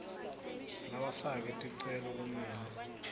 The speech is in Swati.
labafake ticelo kumele